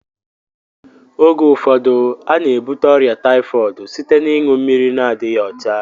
Oge ụfọdụ a na-ebute ọrịa taifọdụ site n'iṅu mmiri na-adịghị ọcha